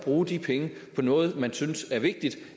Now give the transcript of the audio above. bruge de penge på noget man synes er vigtigt